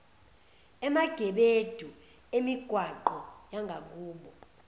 emagebedu emigwaqo yangakubo